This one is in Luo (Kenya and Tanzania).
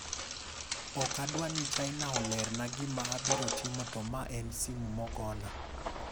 "Ok adwa ni China olerna gima abiro timo to ma en simu mogona.